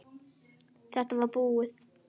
Þetta var búið.